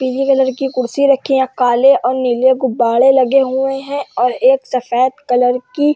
पीले कलर की कुर्सी रखी है और काले और नीले गुब्ब्बारे लगे हुए हैं और एक सफ़ेद कलर की --